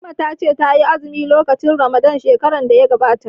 Fatima ta ce ta yi azumi lokacin ramadan shekarar da ta gabata